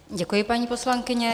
Děkuji, paní poslankyně.